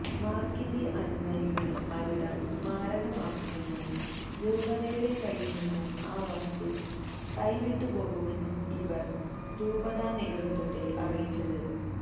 മാർക്കിന്റെ അനുയായികൾ അവിടം സ്മാരകമാക്കുമെന്നും രൂപതയുടെ കയ്യിൽ നിന്നും ആ വസ്തു കൈവിട്ടുപോകുമെന്നും ഇവർ രൂപതാ നേതൃത്വത്തെ അറിയിച്ചത്